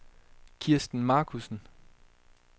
Kirsten Markussen